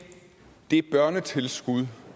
børnetilskud